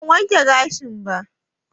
A'a, ban wanke gashin ba